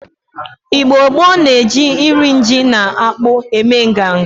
Igbo gboo na-eji nri ji na akpu eme nganga.